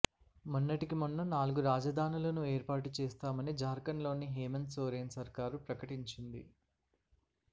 మొన్నటికి మొన్న నాలుగు రాజధానులను ఏర్పాటు చేస్తామని జార్ఖండ్లోని హేమంత్ సోరెన్ సర్కార్ ప్రకటించింది